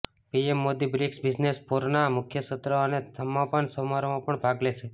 PM Modi BRICS business ફોરના મુખ્ય સત્ર અને સમાપન સમારોહમાં પણ ભાગ લેશે